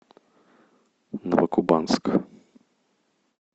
новокубанск